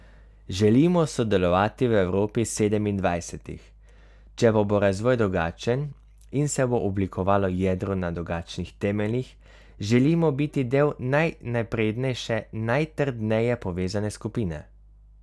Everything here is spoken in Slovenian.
Želimo sodelovati v Evropi sedemindvajsetih, če pa bo razvoj drugačen in se bo oblikovalo jedro na drugačnih temeljih, želimo biti del najnaprednejše, najtrdneje povezane skupine.